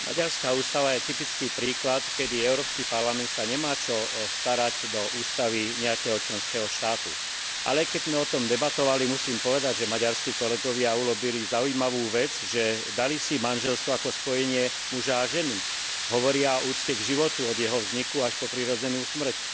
Maďarská ústava je typický príklad, keď Európsky parlament sa nemá čo starať do ústavy nejakého členského štátu, ale keď sme o tom debatovali, musím povedať, že maďarskí kolegovia urobili zaujímavú vec, že dali si manželstvo ako spojenie muža a ženy, hovoria o úcte k životu od jeho vzniku až po prirodzenú smrť.